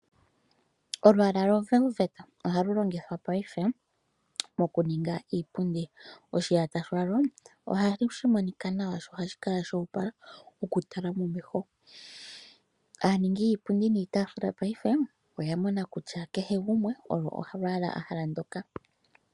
Olwaala lovelveta ohalu longithwa paife, mokuninga iipundi. Oshiyata shalwo ohashi monika nawa sho ohashi kala sha opala okutala momeho. Aaningi yiipundi niitafula paife, oya mona kutya kehe gumwe olo olwaala a hala ndoka.